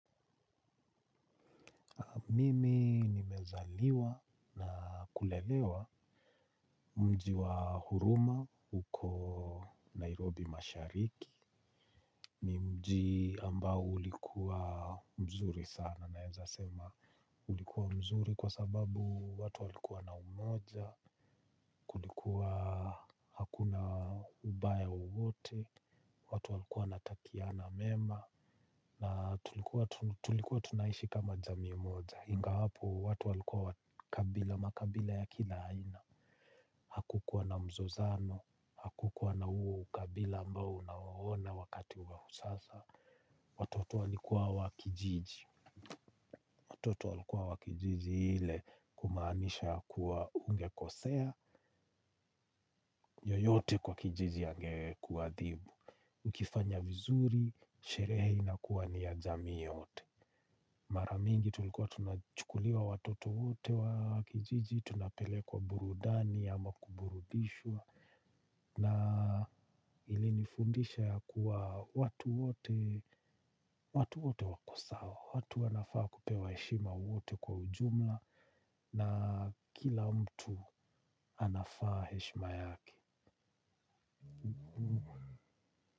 Mimi nimezaliwa na kulelewa mji wa Huruma uko Nairobi mashariki. Mji ambao ulikuwa mzuri sana naeza sema ulikuwa mzuri kwa sababu watu walikuwa na umoja kulikuwa hakuna ubaya uwote, watu walikuwa wanatakiana mema. Na tulikuwa tunaishi kama jamii moja, ingawapo watu walikuwa wa kabila makabila ya kila haina. Hakukuwa na mzozano. Hakukuwa na huu ukabila ambao unauona wakati wa sasa. Watoto walikuwa wa kijiji. Watoto walikuwa wa kijiji ile kumaanisha kuwa ungekosea. Yeyote kwa kijiji angekuadhibu. Ukifanya vizuri sherehe inakuwa ni ya jamii yote. Mara mingi tulikuwa tunachukuliwa watoto wote wa kijiji tunapelekwa burudani ama kuburudishwa na ilinifundisha ya kuwa watu wote, watu wote wako sawa, watu wanafaa kupewa heshima wote kwa ujumla na kila mtu anafaa heshima yake.